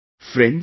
Friends,